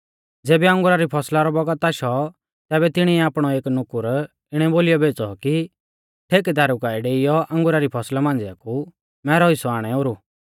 ज़ेबी अंगुरा री फौसला रौ बौगत आशौ तैबै तिणिऐ आपणौ एक नुकुर इणै बोलीयौ भेज़ौ कि ठेकेदारु काऐ डेईयौ अंगुरा री फौसला मांझ़िऐ कु मैरौ हिस्सौ आणै ओरु